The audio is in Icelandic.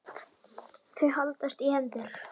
Þau haldast í hendur.